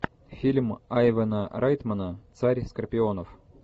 фильм айвена райтмана царь скорпионов